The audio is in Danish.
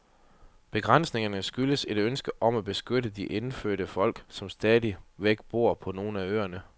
Begrænsningerne skyldes et ønske om at beskytte de indfødte folk, som stadigvæk bor på nogle af øerne.